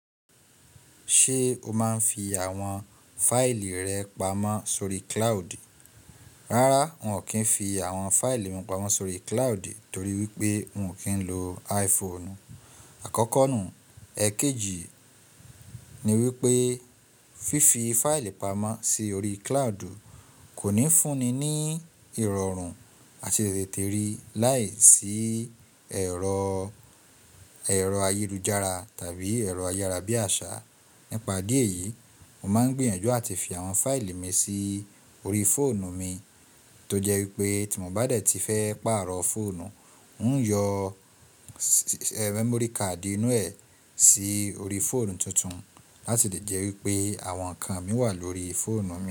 Ṣé o máa ń fi àwọn fáìlì rẹ pamọ́ sórí cloud? Rárá, n ò kí ń fi àwọn fáìlì mi pamọ́ sórí cloud torí wípé n ò kí ń lo iPhone. Àkọ́kọ́ nù, èkejì ni wípé fífi fáìlì pamọ́ sí orí cloud kò ní fúnni ní ìrọ̀rùn àti tètè rí láìsí ero ẹ̀rọ ayélujára tàbí ẹ̀rọ ayárabíàṣá. Nípa idí e yìí, mo máa ń gbìyànjú àti fi àwọn fáìlì mi sí orí fóònù mi tó jẹ́ wípé tí mo bá dẹ̀ tí fẹ́ pààrọ̀ fóònù, n ó yọ memory card inú ẹ̀ sí orí fóònù tuntun láti lè jẹ́ wípé àwọn nǹkan mi wà lórí fóònù mi.